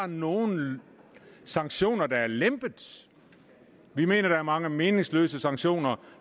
nogen sanktioner der er blevet lempet vi mener der er mange meningsløse sanktioner